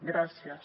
gràcies